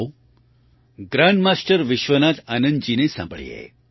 આવો ગ્રાન્ડમાસ્ટર વિશ્વનાથન આનંદજીને સાંભળીએ